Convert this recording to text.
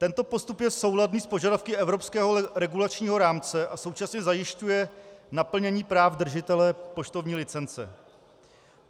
Tento postup je souladný s požadavky evropského regulačního rámce a současně zajišťuje naplnění práv držitele poštovní licence.